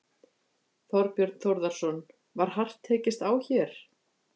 Þorbjörn Þórðarson: Var hart tekist á hér?